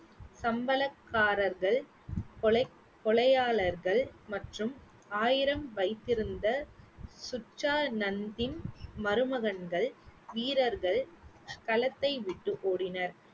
சம்பளக்காரர்கள், கொலை, கொலையாளர்கள் மற்றும் ஆயிரம் வைத்திருந்த, சுற்றா நந்தின் மருமகன்கள், வீரர்கள், களத்தை விட்டு ஓடினர்